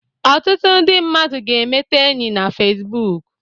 Ọtụtụ ndị mmadụ ga-emete enyi na Fesbuk.